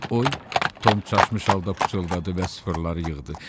Oy, Tom çaşmış halda pıçıldadı və sıfırları yığdı.